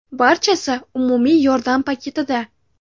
Barchasi umumiy yordam paketida.